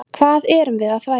Hvað erum við að þvælast?